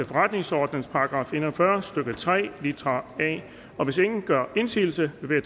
forretningsordenens § en og fyrre stykke tre litra a hvis ingen gør indsigelse vil